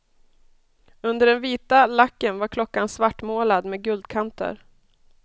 Under den vita lacken var klockan svartmålad med guldkanter.